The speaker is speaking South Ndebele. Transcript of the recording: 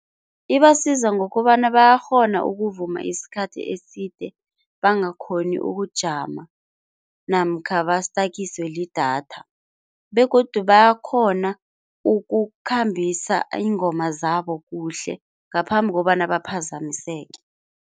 Ibasiza ngokobana bayakghona ukuvuma isikhathi eside bangakhoni ukujama namkha bastakiswe lidatha begodu bayakhona ukukhambisa iingoma zabo kuhle ngaphambi kobana baphazamiseke.